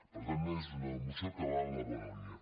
per tant és una mo·ció que va en la bona línia